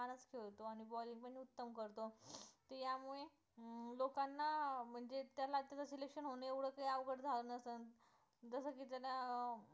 हो म्हणजे त्याला जर selection होणं एवढे काही अवघड झाला नसेल जसं की त्याला अं